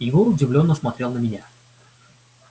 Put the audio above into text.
егор удивлённо смотрел на меня